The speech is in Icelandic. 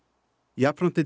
jafnframt